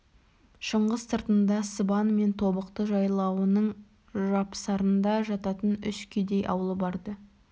шыңғыс сыртында сыбан мен тобықты жайлауының жапсарында жататын үш кедей аулы бар-ды